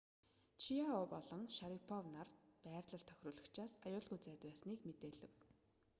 чиао болон шарипов нар байрлал тохируулагчаас аюулгүй зайд байсныг мэдээлэв